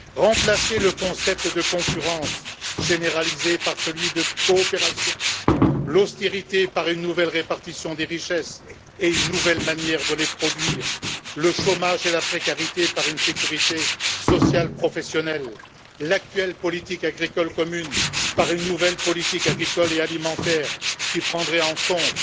Remplacez le concept de concurrence généralisée par celui de coopération, l'austérité par une nouvelle répartition des richesses et une nouvelle manière de les produire, le chômage et la précarité par une sécurité sociale professionnelle, l'actuelle politique agricole commune par une nouvelle politique agricole et alimentaire qui prendrait en compte